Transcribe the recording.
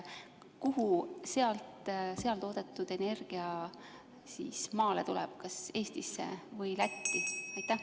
Kus seal toodetud energia maale tuleb, kas Eestis või Lätis?